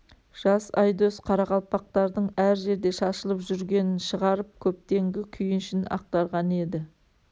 жас айдос қарақалпақтардың әр жерде шашылып жүргенінен шығарып көптенгі күйінішін ақтарған еді